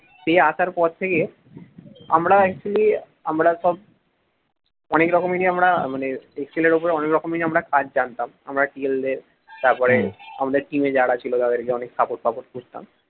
সেই আসার পর থেকে আমরা actually আমরা সব অনেক রকমেরই আমরা মানে ছেলের ওপরে অনেক রকম কাজ জানতাম আমরা TL দের তারপরে আমাদের team যারা ছিল তাদেরকে অনেক support করতাম